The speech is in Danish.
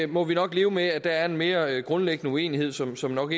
må nok leve med at der er en mere grundlæggende uenighed som som nok